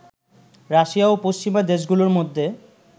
Russia ও পশ্চিমা দেশগুলোর মধ্যে